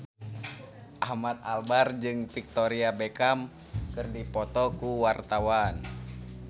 Ahmad Albar jeung Victoria Beckham keur dipoto ku wartawan